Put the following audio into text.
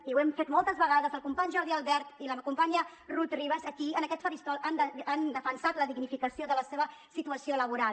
i ho hem fet moltes vegades el company jordi albert i la companya rut ribas aquí en aquest faristol han defensat la dignificació de la seva situació laboral